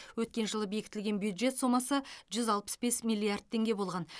өткен жылы бекітілген бюджет сомасы жүз алпыс бес миллиард теңге болған